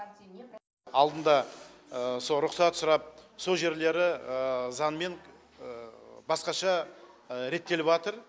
алдында со рұқсат сұрап со жерлері заңмен басқаша реттеліватыр